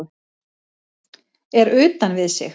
Er utan við sig